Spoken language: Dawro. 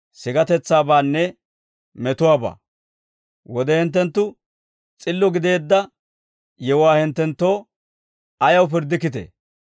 «Wode hinttenttu s'illo gideedda yewuwaa hinttenttoo ayaw pirddikkitee?